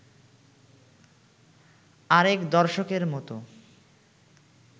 আরেক দর্শকের মত